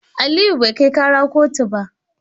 Aliyu bai kai kara kotu ba.